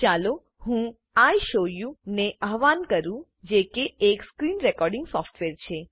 ચાલો હું ઇશોવુ ને અહવાન કરું જેકે એક સ્ક્રીન રેકોર્ડીંગ સોફ્ટવેર છે